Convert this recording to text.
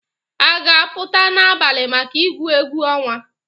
Ị ga-apụta n'abalị maka igwu egwu ọnwa?